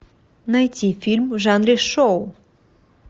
найти фильм в жанре шоу